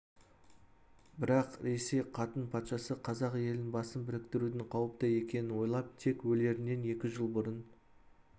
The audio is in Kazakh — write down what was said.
бірақ ресей қатын патшасы қазақ елінің басын біріктірудің қауіпті екенін ойлап тек өлерінен екі жыл бұрын